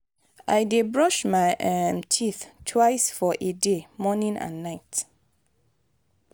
i dey brush my um teeth twice for a day morning and night.